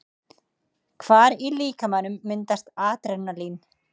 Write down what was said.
Hvar í líkamanum myndast Adrenalín?